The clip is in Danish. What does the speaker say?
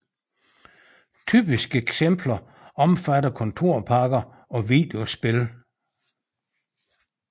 Typiske eksempler omfatter kontorpakker og videospil